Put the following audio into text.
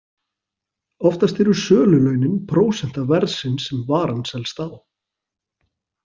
Oftast eru sölulaunin prósenta verðsins sem varan selst á.